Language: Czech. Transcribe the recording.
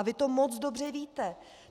A vy to moc dobře víte.